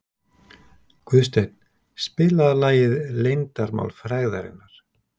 Guðsteinn, spilaðu lagið „Leyndarmál frægðarinnar“.